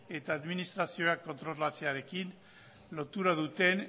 eta administrazioak kontrolatzearekin lotura duten